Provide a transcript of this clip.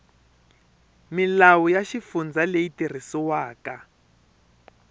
milawu ya xifundza leyi tirhisiwaka